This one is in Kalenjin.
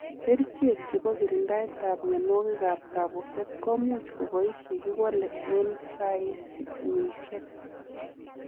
Kerichek chepo kirindaet ap mionwogik ap kabuset komuch kobais yekiwalee ensaimisiek .